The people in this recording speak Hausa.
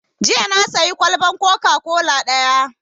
Jiya na sayi kwalban coca-cola ɗaya